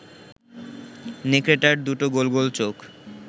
নেকড়েটার দুটো গোল গোল চোখ